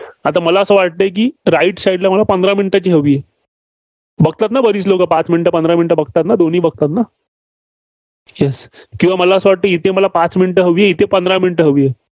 आता मला असं वाटतंय की right side ला मला पंधरा minute ची हवी. बघतात ना बरीच लोकं? पाच minute, पंधरा minute बघतात ना, दोन्ही बघतात ना? Yes किंवा मला असं वाटतं की इथे मला पाच minute हवी. इथं पंधरा minute हवीय.